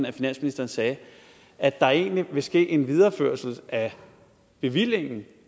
at finansministeren sagde at der egentlig vil ske en videreførelse af bevillingen